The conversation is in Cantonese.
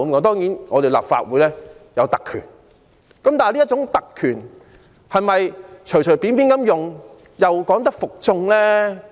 當然，立法會有其特權，但這種特權能否隨便使用，又能否服眾呢？